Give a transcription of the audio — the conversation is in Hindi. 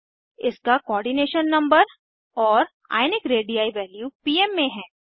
इसका कोऑर्डिनेशन नंबर और आयनिक रेडी वैल्यू पीम में हैं